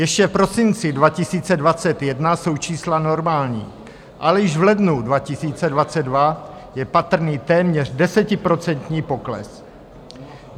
Ještě v prosinci 2021 jsou čísla normální, ale již v lednu 2022 je patrný téměř desetiprocentní pokles.